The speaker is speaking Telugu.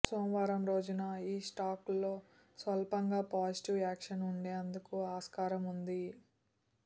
సోమవారం రోజున ఈ స్టాక్లో స్వల్పంగా పాజిటివ్ యాక్షన్ ఉండేందుకు ఆస్కారం ఉంది